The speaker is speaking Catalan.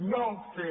no fer